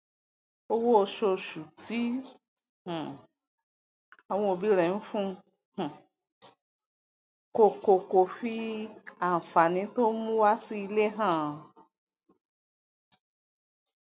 owó osoosù tí um àwọn òbí rẹ ńfun um kò kò fí ànfàní tóń mú wá sí ilé hàn